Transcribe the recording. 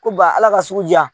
Ko ba Ala ka sugu ja